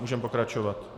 Můžeme pokračovat.